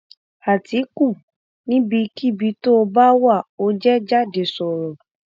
àtìkù níbikíbi tóo bá wà ò jẹ jáde sọrọ